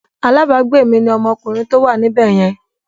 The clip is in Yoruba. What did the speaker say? Alabagbe mi ni ọmọkùnrin tó wà níbẹ̀ yẹn.